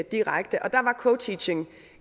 direkte der var co teaching